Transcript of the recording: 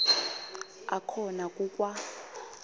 akhona ku kwa